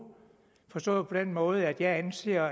forstået på den måde at jeg anser